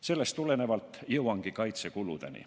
Sellest tulenevalt jõuangi kaitsekuludeni.